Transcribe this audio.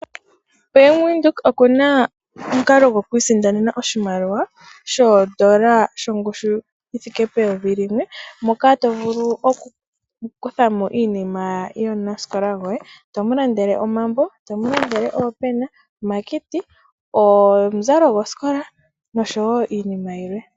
Bank widhoek okuna omukalo goku isindanena oshimaliwa shongushu yoondola eyovi limwe ,moka tovulu okukuthamo iinima yomunasikola goy, tomulandele omambo, oopena, omakiti ,omuzalo gosikola noshowo iinima yilwe.